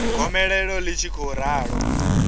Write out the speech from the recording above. gomelelo ḽi tshi khou ralo